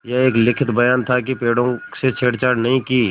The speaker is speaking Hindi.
यह एक लिखित बयान था कि पेड़ों से छेड़छाड़ नहीं की